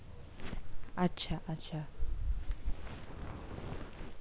আচ্ছা আচ্ছা!